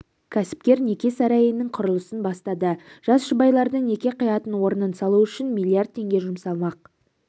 кәсіпкер неке сарайының құрылысын бастады жас жұбайлардың неке қиятын орнын салу үшін миллиард теңге жұмсалмақ